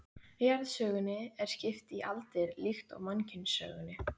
Jarðsögunni er skipt í aldir líkt og mannkynssögunni.